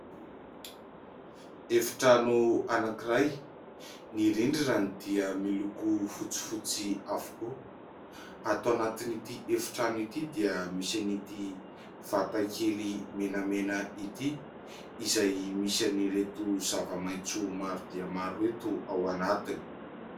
Efitrano anankiray : ny rindrinany dia miloko fotsifotsy avokoa. Ao anatin'ity efitrano ity dia misy an'ity vatakely menamena ity izay misy an'ireto zava-maitso maro dia maro ireto ao anatiny.